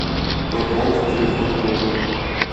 пополнить телефон другу